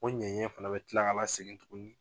O ɲɛɲɛ fana bɛ tila ka lasegin tugun